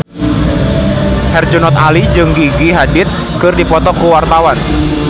Herjunot Ali jeung Gigi Hadid keur dipoto ku wartawan